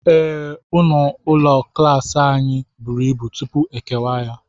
Ee, ọnụ ụlọ klas anyị buru ibu, tupu e kewaa ya.